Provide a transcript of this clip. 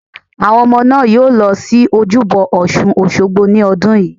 Àwọn ọmọ náà yóò lọ sí Ojúbọ ọ̀sun Òsogbo ní ọdún yìí